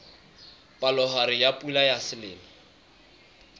palohare ya pula ya selemo